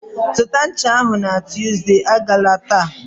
Zụta ncha ahụ na Tuesday! Agala taa.